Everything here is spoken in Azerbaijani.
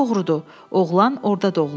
Doğrudur, oğlan orda doğulub.